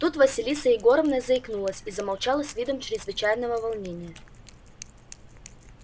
тут василиса егоровна заикнулась и замолчала с видом чрезвычайного волнения